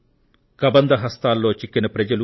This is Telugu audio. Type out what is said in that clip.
కబంధ హస్తాల్లో చిక్కిన ప్రజలు